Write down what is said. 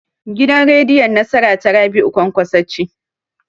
Gidan rediyon Nasara ta Rabi'u Kwankwaso ce.